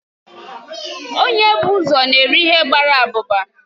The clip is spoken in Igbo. Onye na ebu ụzọ n'eri ihe gbara abụba